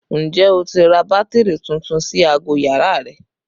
Ǹjẹ́ o ti ra bátìrì tuntun sí aago yàrá rẹ?